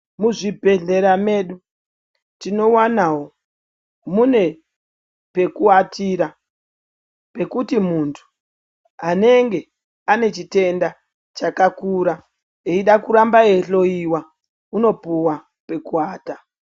Muzvibhedhlera medu tinowanawo mune pekuwatira pekuti muntu anenge ane chitenda chakakura chekuda kuramba eihloiwa unopuwa pekuata.